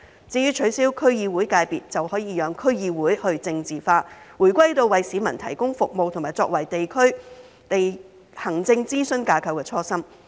至於取消區議會界別，就可以讓區議會去政治化，回歸到為市民提供服務和作為地區行政諮詢架構的初心。